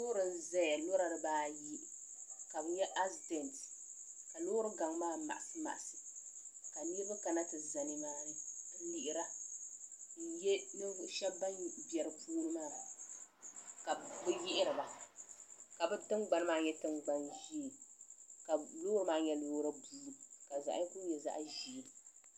loori n-zaya lɔra dibaa ayi ka bɛ nya asidet ka loori gaŋ maa maɣisi maɣisi ka niriba kana ti za ni maa ni n-lihira n-ye ninvuɣ' shɛba ban be di puuni maa ka bɛ yihiriba ka bɛ tiŋgbani maa nyɛ tiŋgban' ʒee ka loori maa nyɛ loori buluu ka zaɣ' yinga nyɛ zaɣ' ʒee.